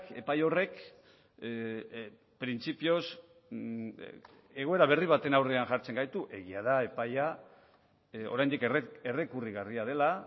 epai horrek printzipioz egoera berri baten aurrean jartzen gaitu egia da epaia oraindik errekurrigarria dela